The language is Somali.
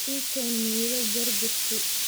ii keen midho jar jartey